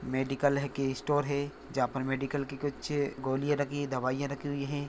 Medical है की store है जहाँ पर मेडिकल की कुछ गोलिया रखी दवाईयां रखी हुई है।